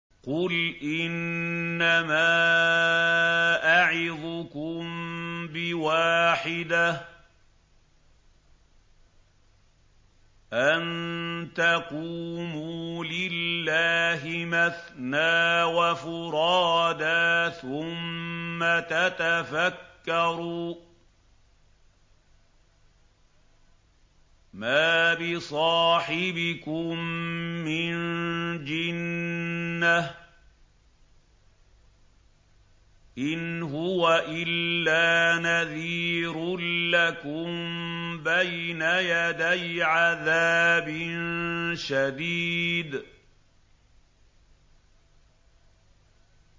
۞ قُلْ إِنَّمَا أَعِظُكُم بِوَاحِدَةٍ ۖ أَن تَقُومُوا لِلَّهِ مَثْنَىٰ وَفُرَادَىٰ ثُمَّ تَتَفَكَّرُوا ۚ مَا بِصَاحِبِكُم مِّن جِنَّةٍ ۚ إِنْ هُوَ إِلَّا نَذِيرٌ لَّكُم بَيْنَ يَدَيْ عَذَابٍ شَدِيدٍ